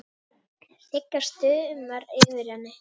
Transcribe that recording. Sigga stumrar yfir henni.